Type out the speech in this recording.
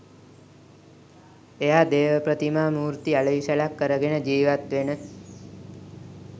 එයා දේව ප්‍රතිමා මූර්ති අලෙවි සැලක් කරගෙන ජීවත් වෙන